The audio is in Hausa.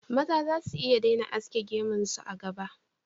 Maza za su iya daina aske gemun su, a gaba